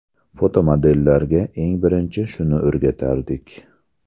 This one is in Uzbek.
Fotomodellarga eng birinchi shuni o‘rgatardik.